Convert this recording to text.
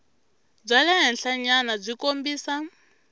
bya le henhlanyana byi kombisa